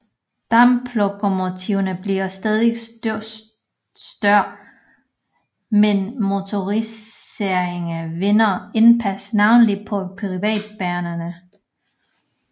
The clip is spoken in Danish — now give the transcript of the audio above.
Damplokomotiverne bliver stadigt større men motoriseringen vinder indpas navnlig på privatbanerne